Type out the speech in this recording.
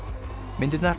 myndirnar